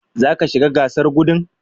Zaka shiga gasar gudun?